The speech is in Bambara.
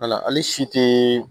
Wala hali si tɛ